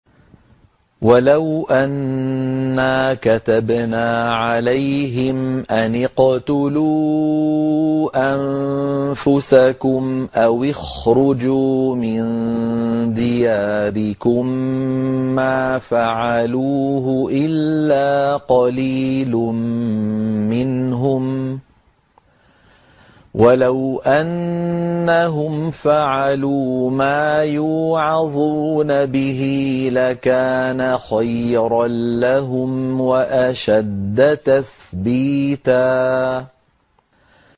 وَلَوْ أَنَّا كَتَبْنَا عَلَيْهِمْ أَنِ اقْتُلُوا أَنفُسَكُمْ أَوِ اخْرُجُوا مِن دِيَارِكُم مَّا فَعَلُوهُ إِلَّا قَلِيلٌ مِّنْهُمْ ۖ وَلَوْ أَنَّهُمْ فَعَلُوا مَا يُوعَظُونَ بِهِ لَكَانَ خَيْرًا لَّهُمْ وَأَشَدَّ تَثْبِيتًا